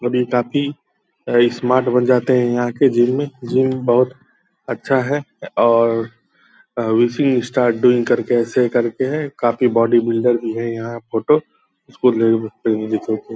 जब ये काफी अ स्मार्ट बन जाते हैं यहाँ के जिम में। जिम बहुत अच्छा है और विशिंग स्टार्ट डूइंग करके ऐसे करके है। काफ़ी बॉडी बिल्डर भी है। यहाँ फ़ोटो इसको --